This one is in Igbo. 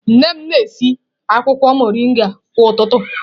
Nne m na-esi akwụkwọ mọrịnga kwa ụtụtụ